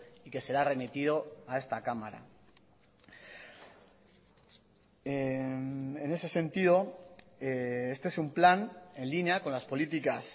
y que será remitido a esta cámara en ese sentido este es un plan en línea con las políticas